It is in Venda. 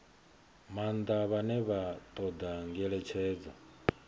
maanḓa vhane vha ṱoḓa ngeletshedzo